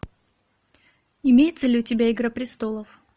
имеется ли у тебя игра престолов